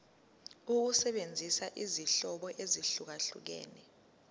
ukusebenzisa izinhlobo ezahlukehlukene